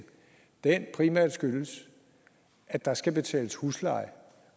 primært skyldes at der skal betales husleje